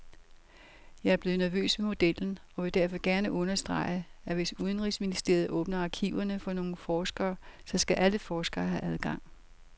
Jeg er blevet nervøs ved modellen og vil derfor gerne understrege, at hvis udenrigsministeriet åbner arkiverne for nogle forskere, så skal alle forskere have adgang.